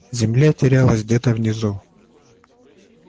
земля терялась где-то внизу